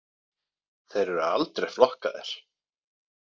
Þeir eru aldrei flokkaðir.